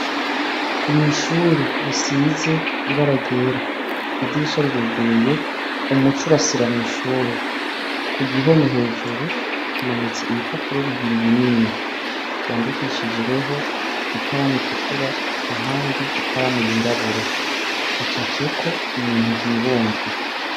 Mw'ishure risize ibara ryera, idirisha riruguruye, umuco urasira mw'ishure. Ku gihome hejuru hamanitse ibipapuro bibiri binini vyandikishijweho ikaramu itukura, ahandi ikaramu yirabura. Hacafyeko ibintu vyibumvye.